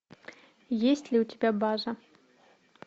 есть ли у тебя база